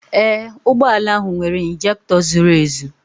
Ee, ụgbọ ala ahụ nwere ịnjektọ zuru ezu